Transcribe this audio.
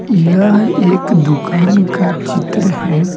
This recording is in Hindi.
यह एक दुकान का चित्र है।